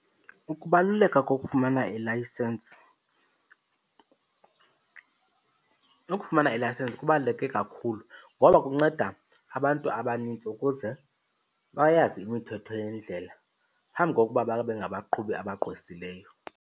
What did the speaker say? Ukubaluleka kokufumana ilayisensi, ukufumana ilayisensi kubaluleke kakhulu ngoba kunceda abantu abanintsi ukuze bayazi imithetho yendlela phambi kokuba babe ngabaqhubi abagqwesileyo.